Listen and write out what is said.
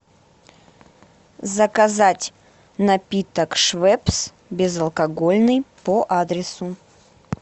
заказать напиток швепс безалкогольный по адресу